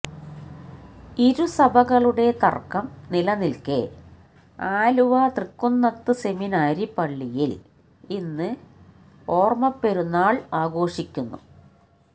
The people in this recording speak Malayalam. ഇരു സഭകളുടെ തര്ക്കം നിലനില്ക്കേ ആലുവ തൃക്കുന്നത്ത് സെമിനാരി പള്ളിയില് ഇന്ന് ഓര്മ്മപെരുന്നാള് ആഘോഷിക്കുന്നു